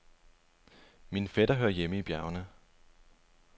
Min fætter hører hjemme i bjergene.